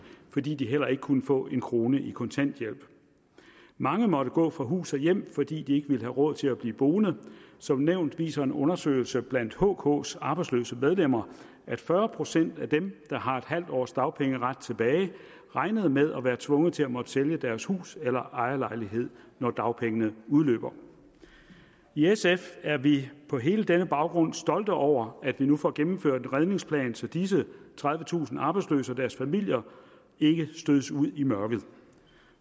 fordi de heller ikke kunne få en krone i kontanthjælp mange måtte gå fra hus og hjem fordi de ikke ville have råd til at blive boende som nævnt viser en undersøgelse blandt hks arbejdsløse medlemmer at fyrre procent af dem der har en halv års dagpengeret tilbage regner med at være tvunget til at måtte sælge deres hus eller ejerlejlighed når dagpengene udløber i sf er vi på hele denne baggrund stolte over at vi nu får gennemført en redningsplan så disse tredivetusind arbejdsløse og deres familier ikke stødes ud i mørket